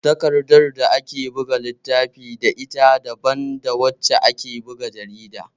Takardar da ake buga littafi da ita daban da wacce ake buga jarida